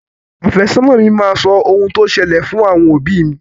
Àfẹ́sọ́nà máa sọ ohun tó ṣẹlẹ̀ fún àwọn òbí mi.